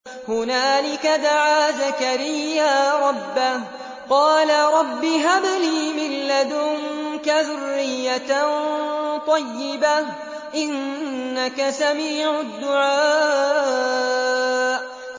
هُنَالِكَ دَعَا زَكَرِيَّا رَبَّهُ ۖ قَالَ رَبِّ هَبْ لِي مِن لَّدُنكَ ذُرِّيَّةً طَيِّبَةً ۖ إِنَّكَ سَمِيعُ الدُّعَاءِ